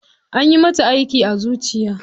Anyi mata aiki a zuciya.